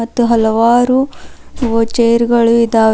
ಮತ್ತು ಹಲವಾರು ಚೇರ್ ಗಳು ಇದಾವ್--